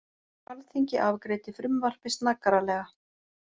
Alþingi afgreiddi frumvarpið snaggaralega